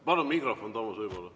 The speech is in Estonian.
Palun mikrofon Toomas Uibole.